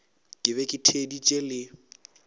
ke be ke theeditše le